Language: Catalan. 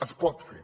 es pot fer